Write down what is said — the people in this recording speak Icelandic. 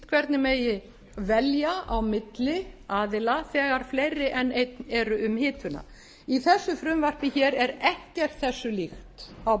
hvernig megi velja á milli aðila þegar fleiri en einn eru um hituna í þessu frumvarpi hér er ekkert þessu líkt á